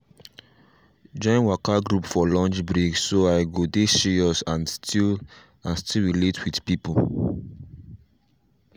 join waka group for lunch break so i go dey serious and still and still relate with people.